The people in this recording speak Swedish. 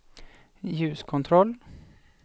ljuskontroll